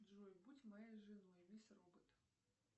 джой будь моей женой мисс робот